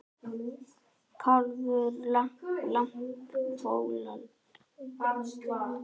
Kálfur, lamb, folald.